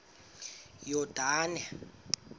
yordane